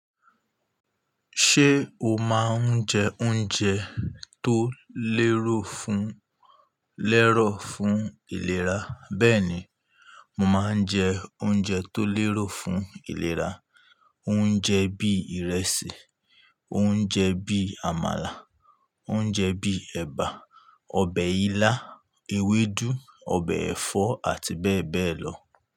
Ṣé o máa ń jẹ oúnjẹ tó lérò fún, lẹ́rọ̀ fún ìlera? Bẹ́ẹ̀ni, mo máa ń jẹ oúnjẹ tó lérò fún ìlera. Oúnjẹ bí ìrẹsì, oúnjẹ bí àmàlà, oúnjẹ bí ẹ̀bà, ọbẹ̀ ilá, ewédú, ọbẹ̀ ẹ̀fọ́ àti bẹ́ẹ̀ bẹ́ẹ̀ lọ.